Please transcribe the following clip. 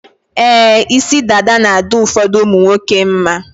Ee, isi dada na-adị ụfọdụ ụmụnwoke mma.